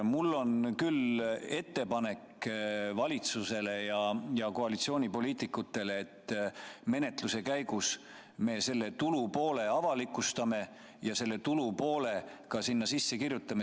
Mul on ettepanek valitsusele ja koalitsioonipoliitikutele, et menetluse käigus see tulupool avalikustataks ja ka sisse kirjutataks.